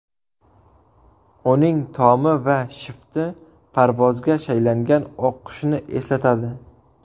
Uning tomi va shifti parvozga shaylangan oq qushni eslatadi.